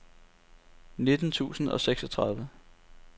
nitten tusind og seksogtredive